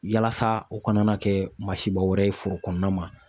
Yalasa o kana na kɛ masiba wɛrɛ ye foro kɔnɔna ma